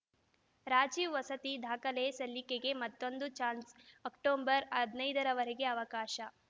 ರಾಜೀವ್‌ ವಸತಿ ದಾಖಲೆ ಸಲ್ಲಿಕೆಗೆ ಮತ್ತೊಂದು ಚಾನ್ಸ್‌ ಅಕ್ಟೋಬರ್‌ ಹದಿನೈದರವರೆಗೆ ಅವಕಾಶ